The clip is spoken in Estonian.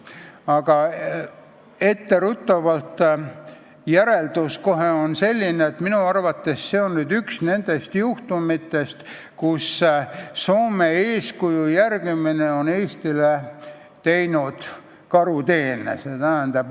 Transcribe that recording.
Aga etteruttavalt on järeldus selline, et minu arvates on see üks nendest juhtumitest, kui Soome eeskuju järgimine on Eestile teinud karuteene.